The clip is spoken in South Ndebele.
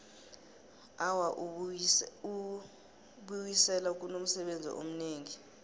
awa ubiwisela kunomsebenzi omningi